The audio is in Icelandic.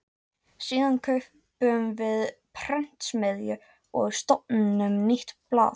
Síðan kaupum við prentsmiðju og stofnum nýtt blað.